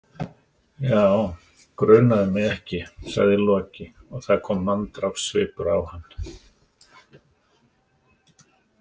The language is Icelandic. Já, grunaði mig ekki, sagði Loki og það kom manndrápssvipur á hann.